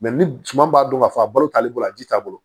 ni suma b'a dɔn k'a fɔ a balo t'ale bolo a ji t'a bolo